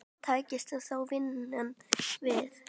Takist það þá vinnum við.